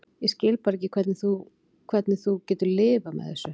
Ég skil bara ekki hvernig þú. hvernig þú hefur getað lifað með þessu.